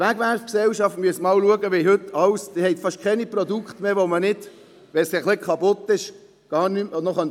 Zur Wegwerfgesellschaft: Achten Sie sich darauf, es gibt fast keine Produkte mehr, die man reparieren kann, wenn sie ein wenig kaputt sind.